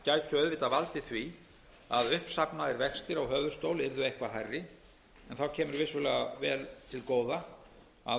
auðvitað valdið því að uppsafnaðir vextir á höfuðstól yrðu eitthvað hærri en þá kemur vissulega vel til góða að